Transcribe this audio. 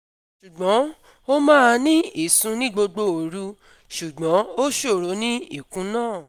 Ṣùgbọ́n ó maa ní ìsùn ní gbogbo òru, ṣùgbọ́n ó ṣòro ní ìkún náà